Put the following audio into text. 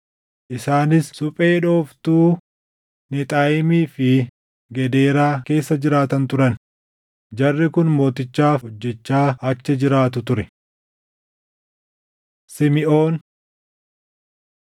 Isaanis suphee dhooftuu Nexaayiimii fi Gedeeraa keessa jiraatan turan; jarri kun mootichaaf hojjechaa achi jiraatu ture. Simiʼoon 4:28‑33 kwf – Iya 19:2‑10